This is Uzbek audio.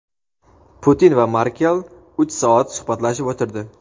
Putin va Merkel uch soat suhbatlashib o‘tirdi.